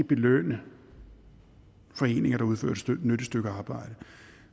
belønne foreninger der udfører dette stykke arbejde